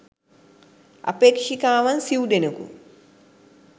අපේක්ෂිකාවන් සිව් දෙනකු